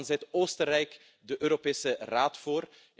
Dan zit Oostenrijk de Europese Raad voor.